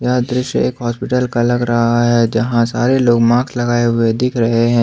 यह दृश्य एक हॉस्पिटल का लग रहा है जहां सारे लोग मास्क लगाए हुए दिख रहे हैं।